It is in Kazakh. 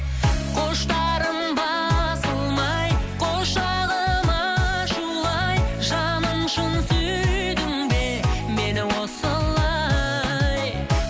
құштарым басылмай құшағым ашулы ай жаным шын сүйдің бе мені осылай